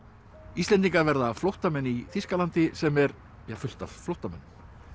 Íslendingar verða flóttamenn í Þýskalandi sem er fullt af flóttamönnum